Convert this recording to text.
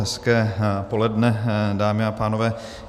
Hezké poledne, dámy a pánové.